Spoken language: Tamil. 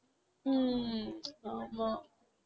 ஹம் ஆமாம்